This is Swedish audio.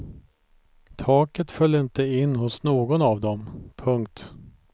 Taket föll inte in hos någon av dem. punkt